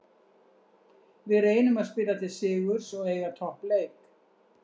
Við reynum að spila til sigurs og eiga toppleik.